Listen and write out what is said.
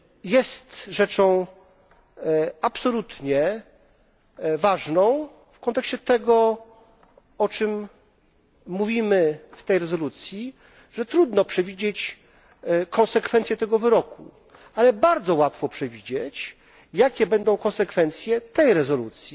Jest rzeczą absolutnie ważną w kontekście tego, o czym mówimy w tej rezolucji, że trudno przewidzieć konsekwencje tego wyroku, ale bardzo łatwo przewidzieć, jakie będą konsekwencje tej rezolucji